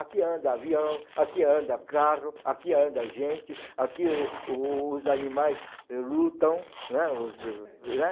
Aqui anda avião, aqui anda carro, aqui anda gente, aqui o os animais lutam, né? Né?